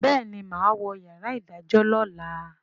béèni má wọ yàrá idajọ lọla.